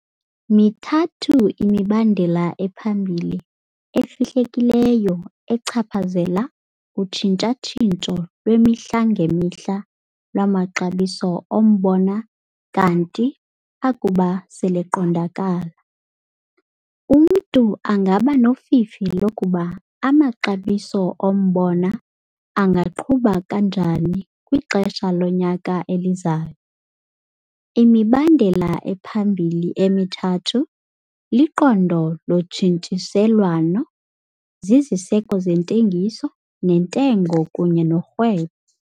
Mithathu imibandela ephambili efihlekileyo echaphazela utshintsha-tshintsho lwemihla ngemihla lwamaxabiso ombona kanti akuba seleqondakala, umntu angaba nofifi lokuba amaxabiso ombona angaqhuba njani kwixesha lonyaka elizayo. Imibandela ephambili emithathu liqondo lotshintshiselwano, ziziseko zentengiso nentengo kunye norhwebo.